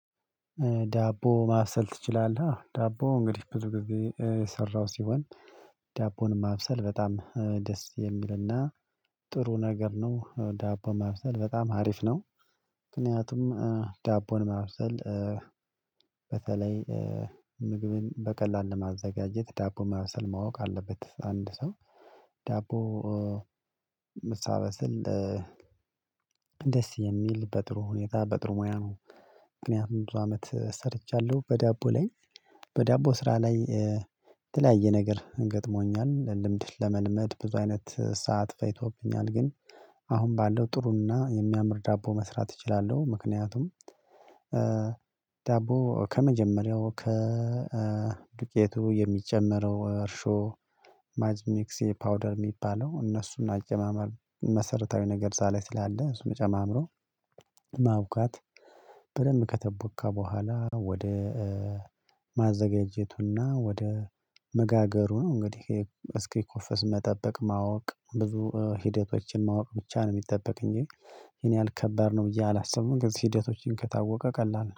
ዳቦ ማብሰል ትችላለህ? ዳቦ እንግዲህ ብዙ ጊዜ የሰራው ሲሆን ዳቦን ማብሰል በጣም ደስ የሚልና ጥሩ ነገር ነው ዳቦ ማብሰል በጣም አሪፍ ነው። ምክንያቱም ዳቦን መብሰል በተለይ ምግብን በቀላሉ ማዘጋጀት ዳቦ ማብሰል ማወቅ አለበት አንድ ሰው ዳቦ ምታበስል ደስ የሚል በጥሩ ሁኔታ በጥሩ ሙያ ነው። ምክንያቱም ብዙ አመት ሰርቻለሁ በዳቦ ላይ በዳቦ ስራ ላይ የተለያየ ነገር ገጥሞኛል ልምድ ለመልመድ ብዙ አይነት ሰዓት ፈጂቶብኛል ግን አሁን ባለው ጥሩና የሚያምር ዳቦ መስራት እችላለሁ። ምክንያቱም ዳቦ ከመጀመሪያው ከ ዱቄቱ የሚጀመረው እርሾ ማጅሚክሴ ፓውደር የሚባለው እነሱን አጀማመር መሰረታዊ ነገር እዛ ላይ ስላለ ጨማምሮ ማቡካት በደንብ ከተቦከ በኋላ ወደ ማዘጋጀቱና ወደ መጋገሩ ነው እንግዲህ እስኪኮፈስ መጠበቅ ማወቅ ብዙ ሂደቶችን ማወቅ ብቻ ነው የሚጠበቅ እንጂ ይሄን ያህል ከበድ ነው ብዬ አላስብም። እነዚህን ሂደቶችን ከታወቀ ቀላል ነው